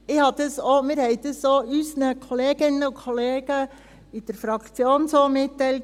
Wir haben dies auch unseren Kolleginnen und Kollegen in der Fraktion so mitgeteilt.